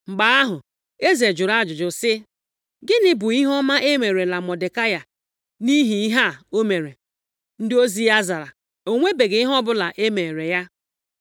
Mgbe ahụ eze jụrụ ajụjụ sị, “Gịnị bụ ihe ọma e meerela Mọdekai nʼihi ihe a o mere?” Ndị ozi ya zara, “O nwebeghị ihe ọbụla e meere ya!”